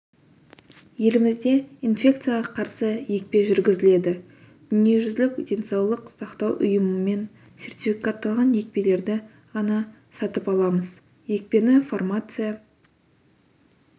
елімізде инфекцияға қарсы екпе жүргізіледі дүниежүзілік денсаулық сақтау ұйымымен сертификатталған екпелерді ғана сатып аламыз екпені фармация